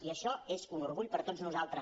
i això és un orgull per a tots nosaltres